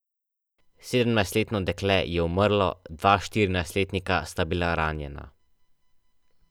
Sedemnajstletno dekle je umrlo, dva štirinajstletnika sta bila ranjena.